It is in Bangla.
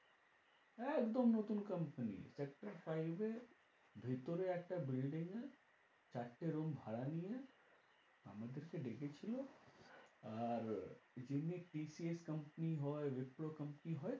একদম নতুন company sector five এ ভিতরে একটা building এ চারটে room ভাড়া নিয়ে আমাদেরকে ডেকে ছিল। আর, যেমনি TCS company হয়, wipro company হয়